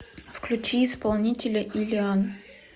включи исполнителя иллиан